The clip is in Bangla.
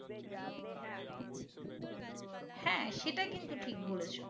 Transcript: হ্যাঁ সেটা কিন্তু ঠিক বলেছো